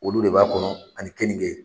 Olu de b'a kɔnɔ ani keninkɛ.